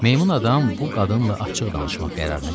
Meymun adam bu qadınla açıq danışmaq qərarına gəldi.